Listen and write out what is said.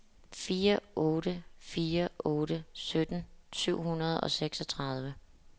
fire otte fire otte sytten syv hundrede og seksogtredive